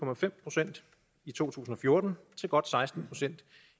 procent i to tusind og fjorten til godt seksten procent